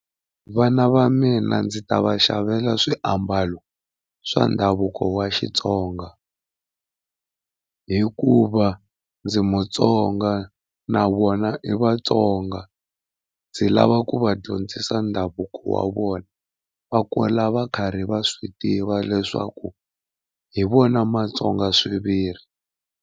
Vana va mina ndzi ta va xavela swiambalo swa ndhavuko wa Xitsonga hikuva ndzi Mutsonga na vona i Vatsonga. Ndzi lava ku va dyondzisa ndhavuko wa vona va kula va karhi va swi tiva leswaku hi vona matsonga swiviri.